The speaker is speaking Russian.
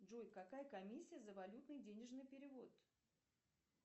джой какая комиссия за валютный денежный перевод